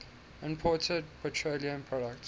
imported petroleum products